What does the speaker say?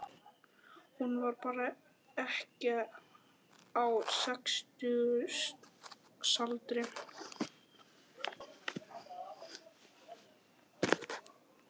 Hún var þá ekkja á sextugsaldri.